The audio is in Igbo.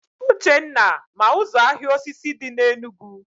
Uchenna ma ụzọ ahịa osisi dị na Enugu